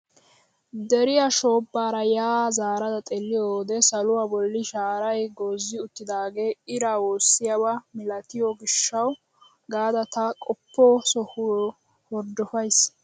Deriyaa shoobbaara yaa zaarada xeelliyoo wode saluwaa bolli shaaray goozzi uttidaagee iraa woossiyaaba milatiyoo giishshawu gaada ta qoppo sohiyoo horddopays!